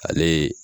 Ale ye